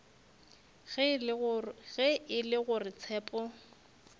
ge e le gore tshepo